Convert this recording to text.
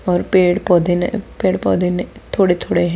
और पेड़ पौधे पेड़ पौधे में थोड़े-थोड़े हैं।